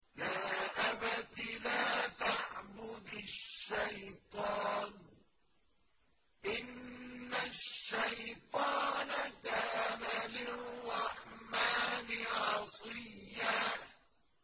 يَا أَبَتِ لَا تَعْبُدِ الشَّيْطَانَ ۖ إِنَّ الشَّيْطَانَ كَانَ لِلرَّحْمَٰنِ عَصِيًّا